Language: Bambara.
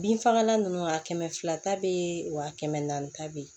Bin fagalan ninnu a kɛmɛ fila ta bɛ ye wa kɛmɛ naani ta bɛ ye